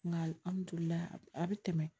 Nka a bɛ tɛmɛ